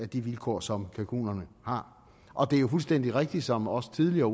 de vilkår som kalkunerne har og det er jo fuldstændig rigtigt som også tidligere